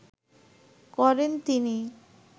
করেন তিনি